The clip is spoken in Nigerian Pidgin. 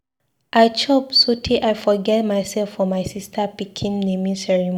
I chop so tey I forget myself for my sister pikin naming ceremony.